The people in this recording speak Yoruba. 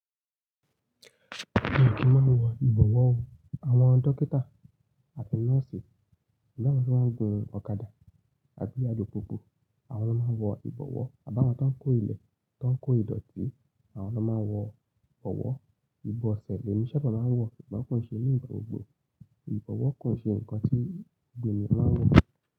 Mi kí máa ń wọ ìbọ̀wọ́ o. Àwọn dókítà àti nọ́ọ̀sì pélu àwon tí wọ́n ń gun ọ̀kadà àti àlupupu, àwọn ló ń wọ ìbọ̀wọ́. Àbí áwọ́n tó ń kó ilẹ̀, tó ń kó ìdọ̀tí àwọn ló máa ń wọ ìbọ̀wọ́. Iboṣẹ̀ lẹ̀ mi ṣa bá máa ń wọ̀? Sugbọn kò ń ṣe ní ìgbà gbogbo. Ìbọ̀wọ́ kò ṣe ǹkan tí gbogbo ènìyàn máa ń wọ̀.